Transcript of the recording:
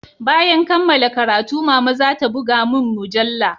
Bayan kammala karatu mama zata buga mun mujalla